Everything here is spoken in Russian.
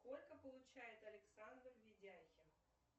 сколько получает александр видяхин